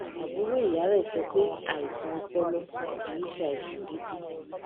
àbúrò ìyá rè sọ pé àìsàn ọpọlọ kì í ṣe àìsàn gidi